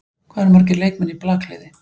Hvað eru margir leikmenn í blakliði?